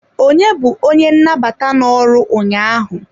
Onye bu onye nnabata no-ọrụ ụnyaahụ?